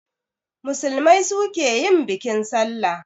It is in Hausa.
Musulmai su ke yin bikin sallah